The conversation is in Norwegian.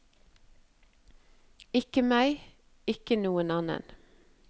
Ikke meg, ikke noen annen.